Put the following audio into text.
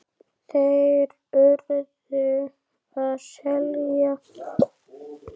Þeir URÐU að selja.